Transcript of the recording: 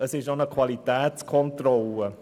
Es ist auch eine Qualitätskontrolle.